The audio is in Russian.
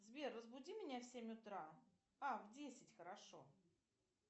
сбер разбуди меня в семь утра а в десять хорошо